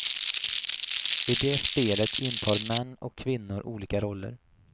I det spelet intar män och kvinnor olika roller.